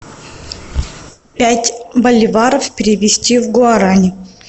пять боливаров перевести в гуарани